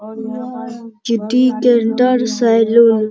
और यह city centre salon --